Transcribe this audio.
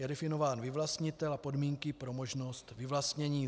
Je definován vyvlastnitel a podmínky pro možnost vyvlastnění.